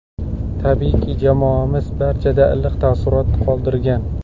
Tabiiyki, jamoamiz barchada iliq taassurot qoldirgan.